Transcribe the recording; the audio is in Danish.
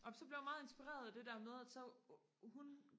amen så blev jeg meget inspireret af det der med at så hun